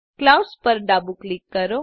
clouds પર ડાબું click કરો